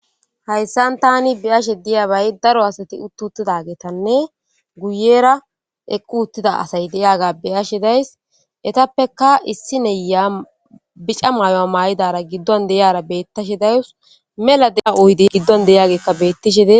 hayssan tani biyashe diyabay daro asati uttutida geetanne guyera eqqu uttida asay deyaga beyashe days etappeka issi neya bica maayo a maa7idara giddon deyara bettashe dayus mela de7a oyidi giddon deyagekka bettishede